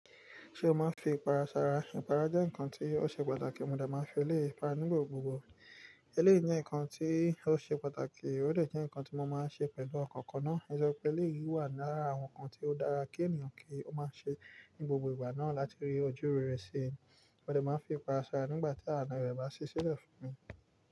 Ṣé o máa ń fi ipara sara? Ipara jẹ́ nǹkan tó ṣe pàtàkì. Mo dà máa ń fi elé ipara nígbà gbogbo. Elé yìí jẹ́ nǹkan tó ṣe pàtàkì, ó dẹ̀ jẹ́ nǹkan tí mo máa ń ṣe pẹ̀lú ọ̀kọ̀ọ̀kan náà. Nítorí pé elé yìí wà lára àwọn nǹkan tó dára kí ènìyàn kí ó máa ṣe ní gbogbo ìgbà náà láti rí ojú rere si. Mo dà máa ń fi ipara sara nígbà tí ààrùn rẹ bá ṣi ṣí lẹ̀ fún mi.